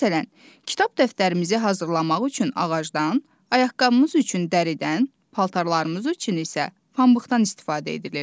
Məsələn, kitab dəftərimizi hazırlamaq üçün ağacdan, ayaqqabımız üçün dəridən, paltarlarımız üçün isə pambıqdan istifadə edilir.